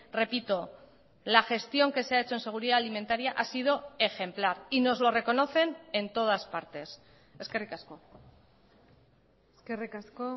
repito la gestión que se ha hecho en seguridad alimentaria ha sido ejemplar y nos lo reconocen en todas partes eskerrik asko eskerrik asko